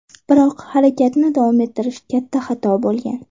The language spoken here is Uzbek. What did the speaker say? Biroq harakatni davom ettirish katta xato bo‘lgan.